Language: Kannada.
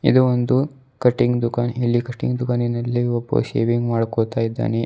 ಇದು ಒಂದು ಕಟಿಂಗ್ ದುಖಾನ್ ಇಲ್ಲಿ ಕಟಿಂಗ್ ದುಖಾನಿನಲ್ಲಿ ಒಬ್ಬ ಶೇವಿಂಗ್ ಮಾಡ್ಕೋತ ಇದ್ದಾನೆ.